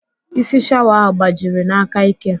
Isi shawa ahụ gbajiri n'aka ike